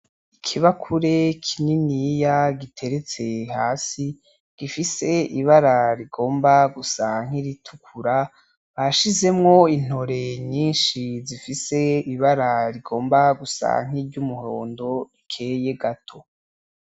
Ikibakure kininiya giteretse hasi gifise ibara rigomba gusa nkiritukura bashizemo intore nyinshi zifise ibara rigomba gusa nkiryumuhondo rikeye gato.